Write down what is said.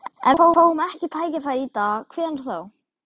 Ef við fáum ekki tækifærið í dag, hvenær þá?